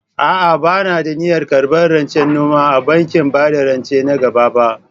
A'a, ba ni da niyyar karɓar rancen noma a bankin bada rance nan gaba ba.